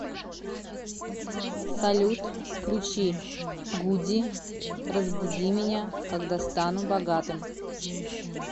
салют включи гуди разбуди меня когда стану богатым